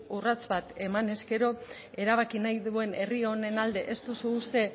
urrats bat emanez gero erabaki nahi duen herri honen alde ez duzu uste